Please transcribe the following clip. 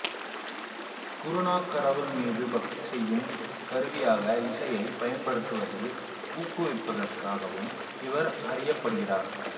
குருநானக் கடவுள் மீது பக்தி செய்யும் கருவியாக இசையைப் பயன்படுத்துவதில் ஊக்குவிப்பதற்காகவும் இவர் அறியப்படுகிறார்